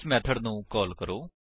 ਇਸ ਮੇਥਡ ਨੂੰ ਕਾਲ ਕਰੋ